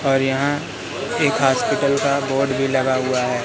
और यहां एक हॉस्पिटल का बोर्ड भी लगा हुआ है।